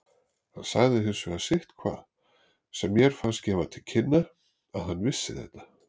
Hann sagði hins vegar sitthvað sem mér fannst gefa til kynna að hann vissi þetta.